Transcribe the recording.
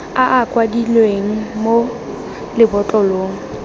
a a kwadilweng mo lebotlolong